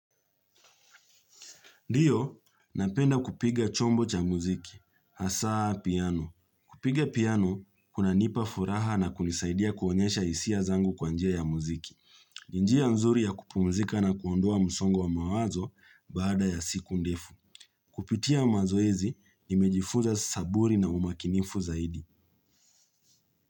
Ndio, napenda kupiga chombo cha muziki, hasaa piano. Kupiga piano kunanipa furaha na kunisaidia kuonyesha hisia zangu kwa njia ya muziki. Njia nzuri ya kupumzika na kuondoa msongo wa mawazo baada ya siku ndefu. Kupitia mazoezi, nimejifunza saburi na umakinifu zaidi.